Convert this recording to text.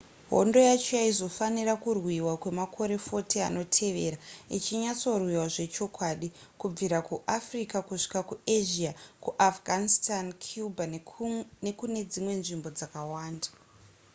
hondo yacho yaizofanira kurwiwa kwemakore 40 anotevera ichinyatsorwiwa zvechokwadi kubvira kuafrica kusvika kuasia kuafghanitsan cuba nekune dzimwe nzvimbo dzakawanda